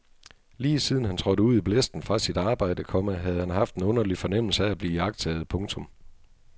Lige siden han trådte ud i blæsten fra sit arbejde, komma havde han haft en underlig fornemmelse af at blive iagttaget. punktum